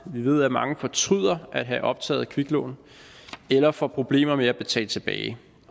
vi ved at mange fortryder at have optaget kviklån eller får problemer med at betale tilbage